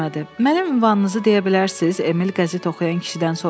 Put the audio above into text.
Mənə ünvanınızı deyə bilərsiz, Emil qəzet oxuyan kişidən soruşdu.